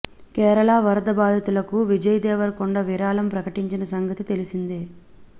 కేరళ వరద బాధితులకు విజయ్ దేవరకొండ విరాళం ప్రకటించిన సంగతి తెలిసిందే